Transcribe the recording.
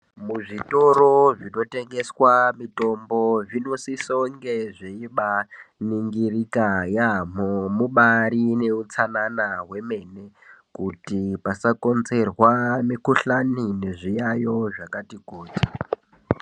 Muzvitoro zvinotengeswa mitombo zvinosiso kunge zveibaningirika yaamho. Mubarine utsanana hwemene kuti pasakonzerwa mikuhlani nezviyayo zvakati kuti.